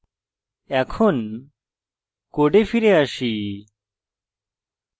এখন code ফিরে আসি